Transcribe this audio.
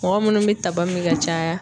Mɔgɔ munnu be taba min ka caya